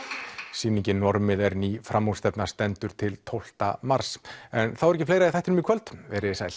sýningin normið er ný stendur til tólfta mars en þá er ekki fleira í þættinum í kvöld veriði sæl